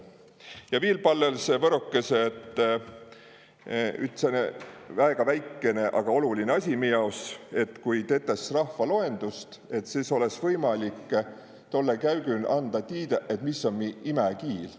Ja viil pallõsõ võrokõsõ – üts sääne väiku asi mi jaos –, et kui tetäs rahvaloendust, et sõs olõs tollõ käügün võimalik anda tiidä, mis om mi imäkiil.